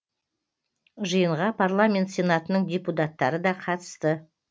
жиынға парламент сенатының депутаттары да қатысты